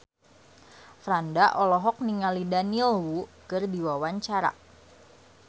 Franda olohok ningali Daniel Wu keur diwawancara